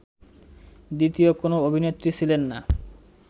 দ্বিতীয় কোনো অভিনেত্রী ছিলেন না